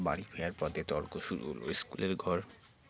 বাড়ি ফেরার পথে তর্ক শুরু হল school এর ঘর